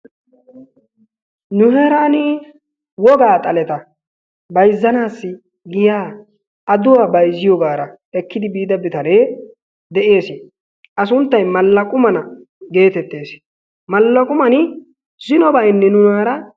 Nu heeran wogaa xaletta bayzzanassi giya adduwaa bayzziyoogara ekki biida bitane de'ees. A sunttay Malaqqu Mana geteettees. Malaqqu Man zino baynni nunaaara